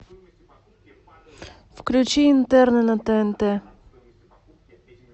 включи интерны на тнт